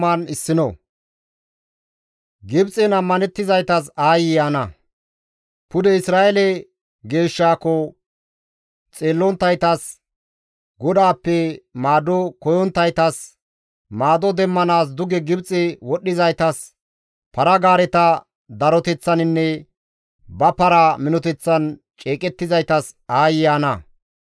Pude Isra7eele geeshshaako xeellonttaytas, GODAAPPE maado koyonttaytas, maado demmanaas duge Gibxe wodhdhizaytas, para-gaareta daroteththaninne ba para minoteththan ceeqettizaytas aayye ana.